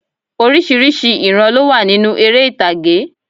Orísìírísìí ìran ló wà nínú erè ìtàgé